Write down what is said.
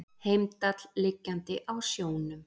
Heimdall liggjandi á sjónum.